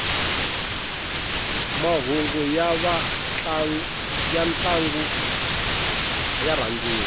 mahhungu yantlangu yarhandziwa